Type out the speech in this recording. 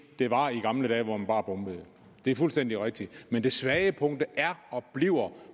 det var tilfældet i gamle dage hvor man bare bombede det er fuldstændig rigtigt men det svage punkt er og bliver